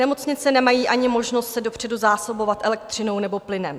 Nemocnice nemají ani možnost se dopředu zásobovat elektřinou nebo plynem.